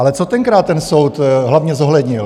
Ale co tenkrát ten soud hlavně zohlednil?